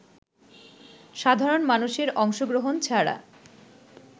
সাধারণ মানুষের অংশগ্রহণ ছাড়া